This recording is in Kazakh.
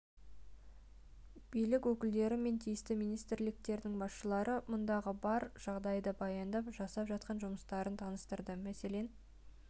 билік өкілдері мен тиісті министрліктердің басшылары мұндағы бар жағдайды баяндап жасап жатқан жұмыстарын таныстырды мәселен